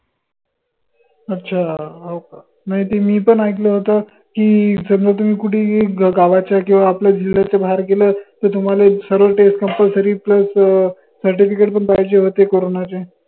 अच्छा हाओ का? नाई ते मी पन ऐकलं होत की, समजा तुम्ही कुठेही गा गावाच्या किंव्हा आपल्या बाहेर गेलं त तुम्हाले सर्वाले test compulsoryplus certificate पन पाहिजे होते corona चे